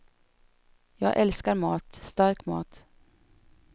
Jag älskar mat, stark mat.